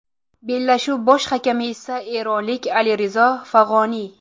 Bellashuv bosh hakami esa eronlik Alirizo Fag‘oniy.